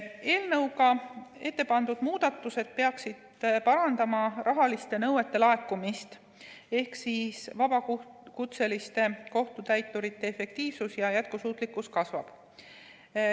Eelnõuga ettepandud muudatused peaksid parandama rahaliste nõuete laekumist ehk vabakutseliste kohtutäiturite efektiivsus ja jätkusuutlikkus kasvab.